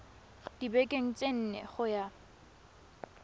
dibekeng tse nne go ya